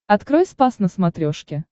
открой спас на смотрешке